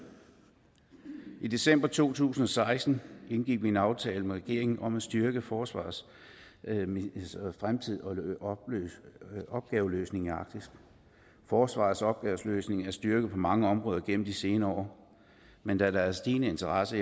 i december to tusind og seksten indgik vi en aftale med regeringen om at styrke forsvarets fremtidige opgaveløsning i arktis forsvarets opgaveløsning er styrket på mange områder gennem de senere år men da der er stigende interesse